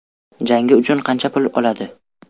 Jangi uchun qancha pul oladi?.